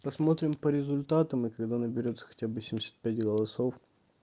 посмотрим по результатам и когда наберётся хотя бы семьдесят пять голосов